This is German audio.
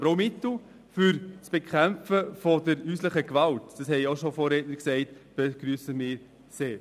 Aber auch Mittel zur Bekämpfung der häuslichen Gewalt – Vorredner haben bereits darauf hingewiesen – begrüssen wir sehr.